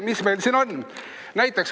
Mis meil siin on?